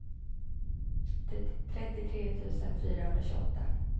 trettiotre tusen fyrahundratjugoåtta